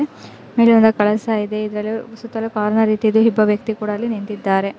ಇಲ್ಲಿ ಒಂದು ಕಳಸ ಇದೆ ಇದರ ಸುತ್ತಲೂ ಕಾರ್ನರ್ ರೀತಿ ಯಿದೆ ಒಬ್ಬ ವ್ಯಕ್ತಿ ಕೂಡಾ ಅಲ್ಲಿ ನಿಂತಿದ್ದಾರೆ.